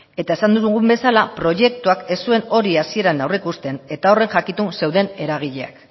eta esan dugun bezala proiektuak ez zuen hori hasieran aurreikusten eta horren jakitun zeuden eragileak